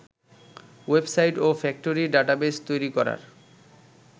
website ও factory database তৈরি করার